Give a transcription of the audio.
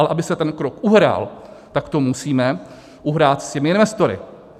Ale aby se ten krok uhrál, tak to musíme uhrát s těmi investory.